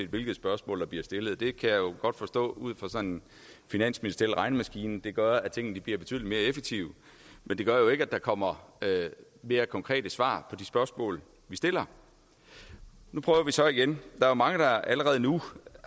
hvilket spørgsmål der bliver stillet det kan jeg godt forstå ud fra sådan en finansministeriel regnemaskine det gør at tingene bliver betydelig mere effektive men det gør jo ikke at der kommer mere konkrete svar på de spørgsmål vi stiller nu prøver vi så igen der er mange der allerede nu